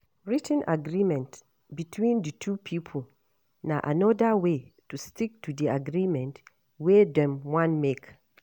Writ ten agreement between di two pipo na anoda way to stick to di agreement wey dem wan make